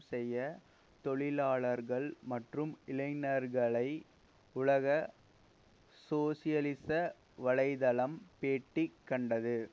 செய்ய தொழிலாளர்கள் மற்றும் இளைஞர்களை உலக சோசியலிச வலை தளம் பேட்டி கண்டது